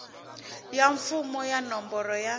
ya mfumo ya nomboro ya